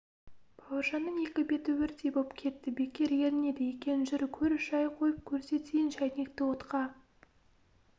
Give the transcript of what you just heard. бауыржанның екі беті өрттей боп кетті бекер ерінеді екен жүр көр шай қойып көрсетейін шайнекті отқа